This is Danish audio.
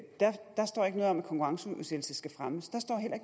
konkurrenceudsættelse skal fremmes